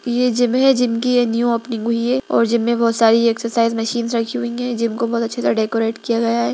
ये जिम है जिम की ये न्यू ओपनिंग हुई है और जिम में बहुत सारी एक्सरसाइज मशीन्स रखी हुई है जिम को बहुत अच्छी तरह डेकोरेट किया गया है।